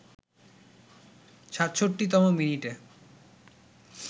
৬৭তম মিনিটে